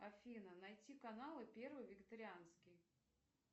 афина найти каналы первый вегетарианский